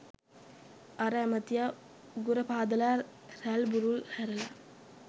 අර ඇමතියා උගුර පාදලා රැල්බුරුල් හැරලා